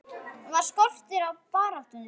Var skortur á baráttu?